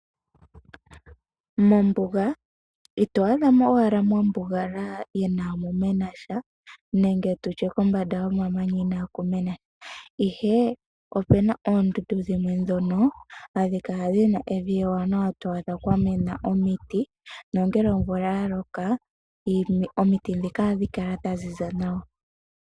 Mombuga ito adha mo owala mwabugalala inaamu mena sha nenge tutye kombanda yomamanya inaaku mena sha. Ihe opuna oondundu dhimwe ndhono hadhi kala dhina evi ewanawa kwa mena omiti, nongele omvula ya loka omiti ndhika ohadhi kala dha ziza nawa.